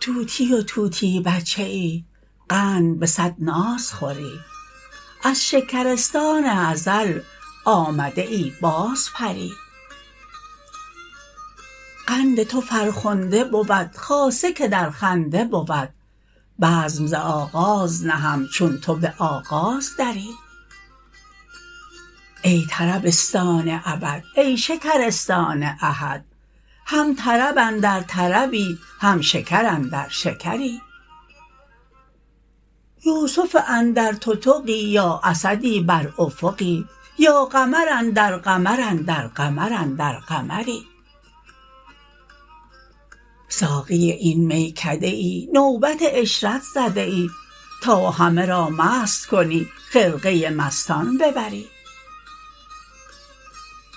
طوطی و طوطی بچه ای قند به صد ناز خوری از شکرستان ازل آمده ای بازپری قند تو فرخنده بود خاصه که در خنده بود بزم ز آغاز نهم چون تو به آغاز دری ای طربستان ابد ای شکرستان احد هم طرب اندر طربی هم شکر اندر شکری یوسف اندر تتقی یا اسدی بر افقی یا قمر اندر قمر اندر قمر اندر قمری ساقی این میکده ای نوبت عشرت زده ای تا همه را مست کنی خرقه مستان ببری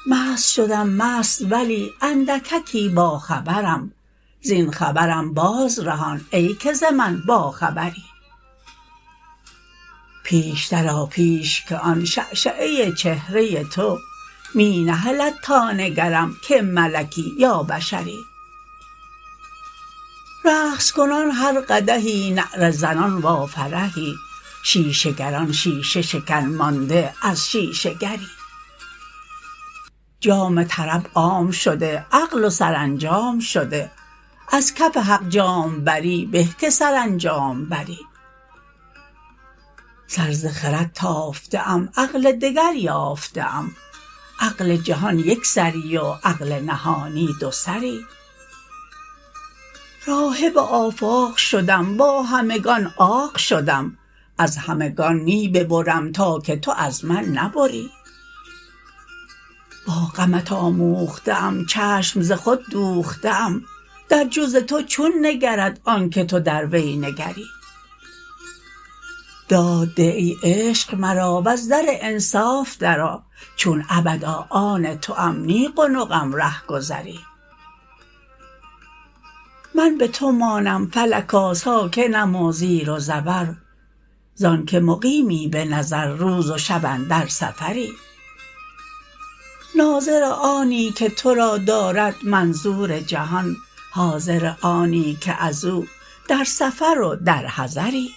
مست شدم مست ولی اندککی باخبرم زین خبرم بازرهان ای که ز من باخبری پیشتر آ پیش که آن شعشعه چهره تو می نهلد تا نگرم که ملکی یا بشری رقص کنان هر قدحی نعره زنان وافرحی شیشه گران شیشه شکن مانده از شیشه گری جام طرب عام شده عقل و سرانجام شده از کف حق جام بری به که سرانجام بری سر ز خرد تافته ام عقل دگر یافته ام عقل جهان یک سری و عقل نهانی دوسری راهب آفاق شدم با همگان عاق شدم از همگان می ببرم تا که تو از من نبری با غمت آموخته ام چشم ز خود دوخته ام در جز تو چون نگرد آنک تو در وی نگری داد ده ای عشق مرا وز در انصاف درآ چون ابدا آن توام نی قنقم رهگذری من به تو مانم فلکا ساکنم و زیر و زبر ز آنک مقیمی به نظر روز و شب اندر سفری ناظر آنی که تو را دارد منظور جهان حاضر آنی که از او در سفر و در حضری